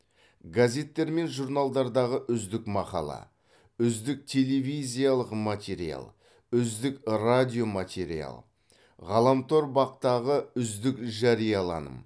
газеттер мен журналдардағы үздік мақала үздік телевизиялық материал үздік радиоматериал ғаламтор бақ ғы үздік жарияланым